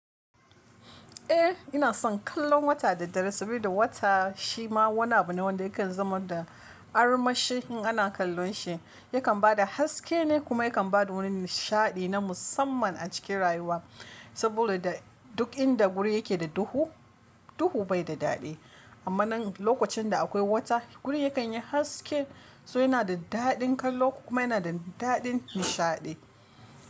Eh ina son kallon wata da dare saboda wata shi ma wani abu ne wanda yakan zama da armashi in ana kallon shi. Yakan ba da haske ne kuma yakan ba da wani nishaɗi na musamman a cikin rayuwa. Saboda duk inda guri yake da duhu, duhu bai da daɗi. Amma nan lokacin da akwai wata guri yakan yi haske, so yana da daɗin kallo kuma yana da daɗin nishaɗi.